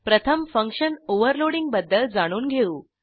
प्रथम function overloading बद्दल जाणून घेऊ